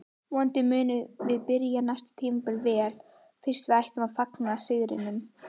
Vonandi munum við byrja næsta tímabil vel en fyrst ætlum við að fagna sigrinum